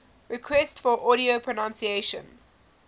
requests for audio pronunciation